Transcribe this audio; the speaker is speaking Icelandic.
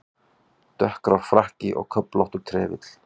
Dökkgrár frakki og köflóttur trefill.